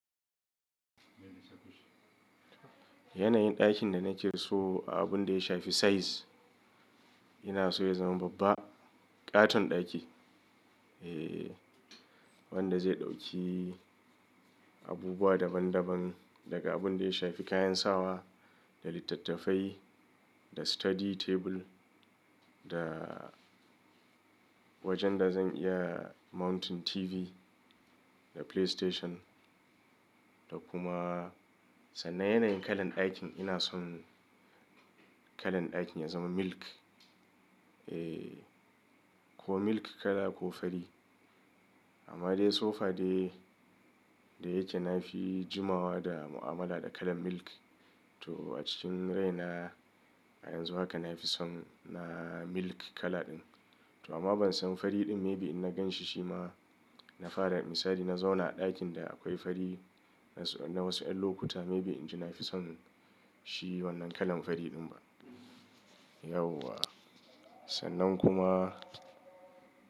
Yanayin ɗakin da nake so a abun da ya shafi size, ina so ya zama babba, ƙaton ɗaki. Eh, wanda zai ɗauki abubuwa daban daban, daga abun da ya shafi kayan sawa, da littattafai, da study table, da wajen da zan iya mounting TV, da PlayStation, da kuma sannan yanayin kalan ɗakin ina son kalan ɗakin ya zama milk. Eh, ko milk kala ko fari. Amma dai so far dai, dai yake na fi jimawa da mu'amala da kalan milk. To a cikin rai na a yanzu haka na fi son na milk kala ɗin. To amma ban san fari ɗin maybe in na gan shi shi ma, na fara misali na zauna a ɗakin da akwai fari na wasu 'yan lokuta maybe in ji na fi son shi wannan kalan fari ɗin ba. Yauwa, sannan kuma.